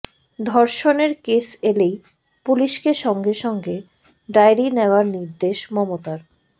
ধর্ষণের কেস এলেই পুলিশকে সঙ্গে সঙ্গে ডায়েরি নেওয়ার নির্দেশ মমতার